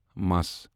مَس